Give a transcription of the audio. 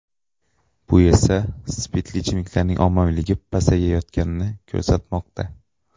Bu esa spirtli ichimliklarning ommaviyligi pasayayotganini ko‘rsatmoqda.